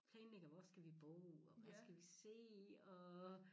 Planlægger hvor skal vi bo og hvad skal vi se og